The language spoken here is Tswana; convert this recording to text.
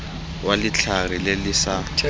wa letlhare le le sa